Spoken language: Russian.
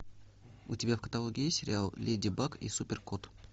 у тебя в каталоге есть сериал леди баг и супер кот